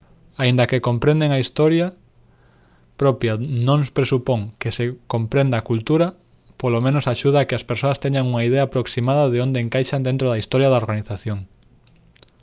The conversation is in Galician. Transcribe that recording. aínda que comprender a historia propia non presupón que se comprenda a cultura polo menos axuda a que as persoas teñan unha idea aproximada de onde encaixan dentro da historia da organización